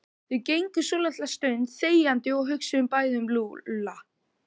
Þau gengu svolitla stund þegjandi og hugsuðu bæði um Lúlla.